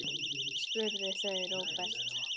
spurðu þau Róbert.